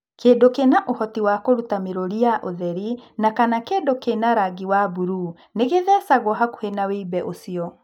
Kĩndũ kĩna ũhoti wa kũruta mĩrũri ya ũtheri na/kana kĩndũ kĩa Rangi wa mburuu nĩ gĩthecagwo hakuhĩ na wimbe ũcio.